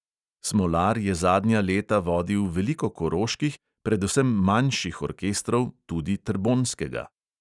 Smolar je zadnja leta vodil veliko koroških, predvsem manjših orkestrov, tudi trbonjskega.